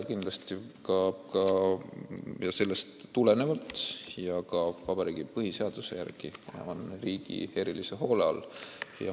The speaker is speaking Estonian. Kindlasti on nad sellest tulenevalt ja ka põhiseaduse järgi riigi erilise hoole all.